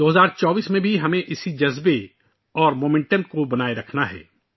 ہمیں 2024 میں بھی اسی جذبے اور رفتار کو برقرار رکھنا ہے